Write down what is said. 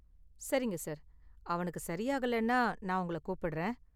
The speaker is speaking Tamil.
சரிங்க சார், அவனுக்கு சரி ஆகலைன்னா நான் உங்கள கூப்பிடுறேன்.